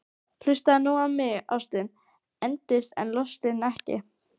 Hlustaðu nú á mig: Ástin endist en lostinn ekki!